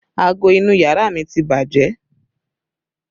Aago inú yàrá mi ti bàjẹ́